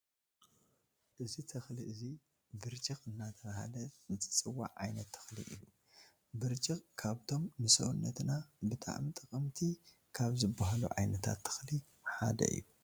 እዚ ተክሊ አዚ ብርጭቅ አናተባህለ ዝፀዋዕ ዓይነት ተክሊ አዩ። ብርጭቅ ካብቶም ንስውነትና ብጠዕሚ ጠቀምቲ ካብ ዝባሃሉ ዓይነታት ተክል ሓደ አዩ ።